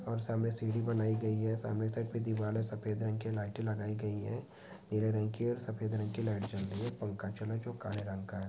और सामने सीढ़ी बनाई गई है सामने साइड पे दीवाल है सफेद रंग की लाइटे लगाई गई है नीले रंग की और सफेद रंग की लाइट जल रही है और पंखा चले जो काले रंग का का है।